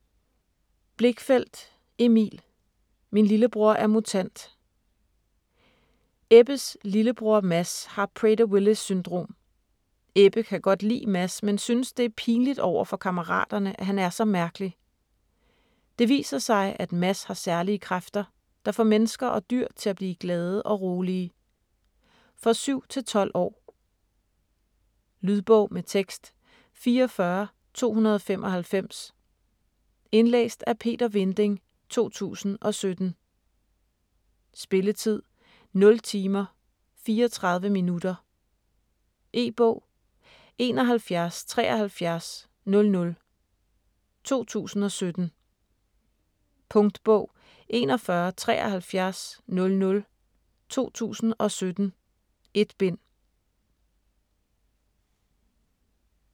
Blichfeldt, Emil: Min lillebror er mutant Ebbes lillebror, Mads, har Prader-Willis syndrom. Ebbe kan godt lide Mads, men synes det er pinligt overfor kammeraterne, at han er så mærkelig. Det viser sig, at Mads har særlige kræfter, der får mennesker og dyr til at blive glade og rolige. For 7-12 år. Lydbog med tekst 44295 Indlæst af Peter Vinding, 2017. Spilletid: 0 timer, 34 minutter. E-bog 717300 2017. Punktbog 417300 2017. 1 bind.